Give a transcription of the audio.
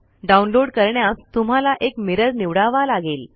download करण्यास तुम्हाला एक मिरर निवडावा लागेल